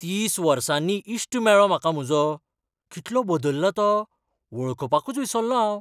तीस वर्सांनी इश्ट मेळ्ळो म्हाका म्हजो, कितलो बदल्ला तो, वळखुपाकूच विसल्लों हांव.